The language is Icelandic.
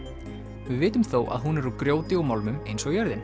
við vitum þó að hún er úr grjóti og málmum eins og jörðin